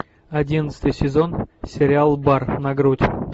одиннадцатый сезон сериал бар на грудь